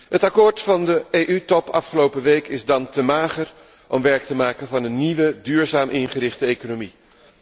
Het akkoord van de EU top afgelopen week is te mager om werk te maken van een nieuwe duurzaam ingerichte economie.